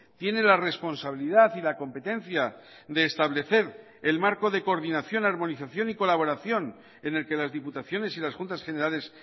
tiene la responsabilidad y la competencia de establecer el marco de coordinación armonización y colaboración en el que las diputaciones y las juntas generales